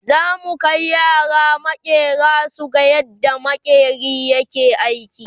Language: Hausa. zamu Kai yara maƙera suga yadda maƙeri ke aiki